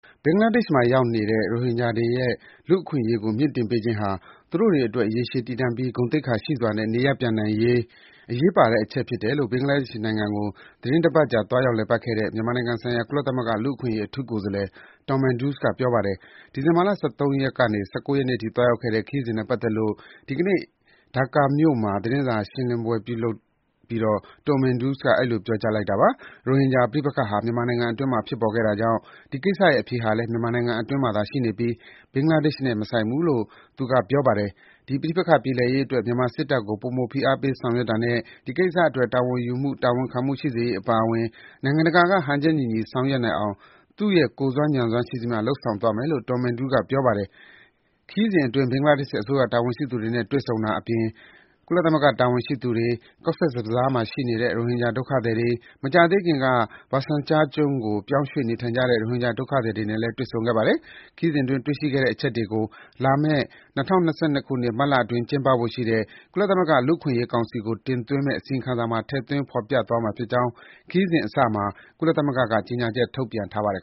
ဘင်္ဂလားဒေ့ရှ်မှာ ရောက်နေကြတဲ့ ရိုဟင်ဂျာတွေရဲ့ လူ့အခွင့်အရေးကို မြှင့်တင်ပေးခြင်းဟာ သူတို့တွေအတွက် ရေရှည်တည်တံ့ပြီး ဂုဏ်သိက္ခာရှိစွာ နေရပ်ပြန်နိုင်ရေးအတွက် အရေးပါတဲ့အချက် ဖြစ်တယ်လို့ ဘင်္ဂလားဒေ့ရှ်နိုင်ငံကို သီတင်းတပတ်ကြာ သွားရောက်လည်ပတ်ခဲ့တဲ့ မြန်မာနိုင်ငံဆိုင်ရာ ကုလသမဂ္ဂ လူ့အခွင့်အရေး အထူးကိုယ်စားလှယ် Tom Andrew က ပြောကြားလိုက်ပါတယ်။ ဒီဇင်ဘာလ ၁၃ ရက်ကနေ ၁၉ ရက်အထိ သွားရောက်ခဲ့တဲ့ ခရီးစဉ်နဲ့ ပတ်သက်လို့ ဒီကနေ့ ဒါကာမြို့မှာ ပြုလုပ်တဲ့ သတင်းစာရှင်းလင်းပွဲအတွင်း Tom Andrew က အဲဒီလို ပြောကြားလိုက်တာပါ။ ရိုဟင်ဂျာ ပဋိပက္ခဟာ မြန်မာနိုင်ငံအတွင်းမှာ ဖြစ်ပေါ်ခဲ့တာကြောင့် ဒီကိစ္စရဲ့ အဖြေဟာလည်း မြန်မာနိုင်ငံအတွင်းမှာသာ ရှိနေပြီး ဘင်္ဂလားဒေ့ရှ်နဲ့ မဆိုင်ဘူးလို့ ကုလ လူ့အခွင့်အရေး အထူးကိုယ်စားလှယ်က ပြောပါတယ်။ ဒီပဋိပက္ခ ပြေလည်ရေးအတွက် မြန်မာစစ်တပ်ကို ပိုမိုဖိအားပေး လုပ်ဆောင်တာနဲ့ ဒီကိစ္စအတွက် တာဝန်ယူမှု တာဝန်ခံမှု ရှိစေရေး အပါအဝင် နိုင်ငံတကာက ဟန်ချက်ညီညီ ဆောင်ရွက်နိုင်အောင် သူ့ကိုယ်စွမ်း ဉာဏ်စွမ်းရှိသမျှ လုပ်ဆောင်သွားမယ်လို့ Tom Andrew က ပြောပါတယ်။ ခရီးစဉ်အတွင်း ဘင်္ဂလားဒေ့ရှ်အစိုးရ တာဝန်ရှိသူတွေနဲ့ တွေ့ဆုံတာအပြင် ကုလသမဂ္ဂ တာဝန်ရှိသူတွေ၊ Cox’s Bazar မှာ ရှိနေတဲ့ ရိုဟင်ဂျာ ဒုက္ခသည်တွေ၊ မကြာသေးခင်က Basan Char ကျွန်းကို ပြောင်းရွှေ့ နေထိုင်ကြတဲ့ ရိုဟင်ဂျာ ဒုက္ခသည်တွေနဲ့ တွေ့ဆုံခဲ့ပါတယ်။ ဒီခရီးစဉ်အတွင်း တွေ့ရှိခဲ့တဲ့ အချက်တွေကို လာမယ့် ၂၀၂၂ ခုနှစ်၊ မတ်လအတွင်း ကျင်းပဖို့ရှိတဲ့ ကုလသမဂ္ဂ လူ့အခွင့်အရေးကောင်စီကို တင်သွင်းမယ့် အစီရင်ခံစာမှာ ထည့်သွင်း ဖော်ပြသွားမှာဖြစ်ကြောင်း ခရီးစဉ်အစမှာ ကုလသမဂ္ဂက ကြေညာချက် ထုတ်ပြန်ထားပါတယ်